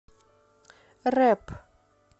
рэп